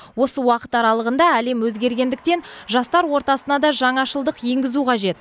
осы уақыт аралығында әлем өзгергендіктен жастар ортасына да жаңашылдық енгізу қажет